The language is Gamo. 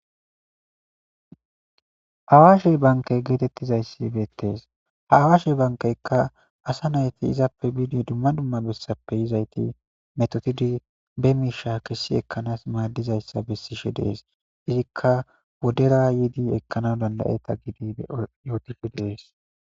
Awaashe bankey geetettizayssi beettees ha awashe bankeykka asa nayti izappe bidi dumma dumma bessappe yizayti metotidi be miisha kessi ekkanas maaddizayssa bessishe dees izikka wodera yiidi ekkana dandayeta gidi eyootishe deees.